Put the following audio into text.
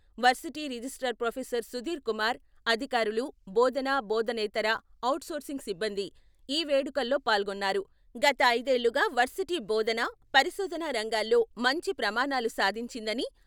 Varsity registrar professor Sudhir Kumar, అధికారులు, బోధన, బోధనేతర, ఔట్ సోర్సింగ్ సిబ్బంది ఈ వేడుకల్లో పాల్గొన్నారు. గత ఐదేళ్లుగా వర్సిటీ బోధన, పరిశోధన రంగాల్లో మంచి ప్రమాణాలు సాధించిందని,.